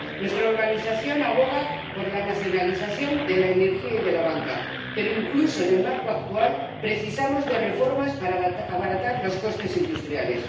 Nuestra organización aboga por la nacionalización de la energía y de la banca, pero incluso en el marco actual precisamos de reformas para abaratar los costes industriales.